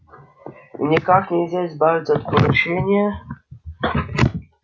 и никак нельзя избавиться от поручения